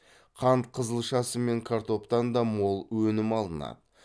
қант қызылшасы мен картоптан да мол өнім алынады